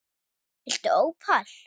Viltu ópal?